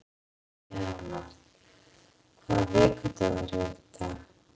Leonhard, hvaða vikudagur er í dag?